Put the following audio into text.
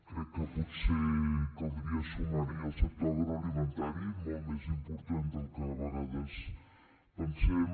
crec que potser caldria sumar hi el sector agroalimentari molt més important del que a vegades pensem